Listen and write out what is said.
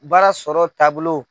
Baara sɔrɔ taabolo